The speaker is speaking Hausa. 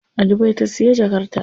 A Dubai ta siya jakar ta.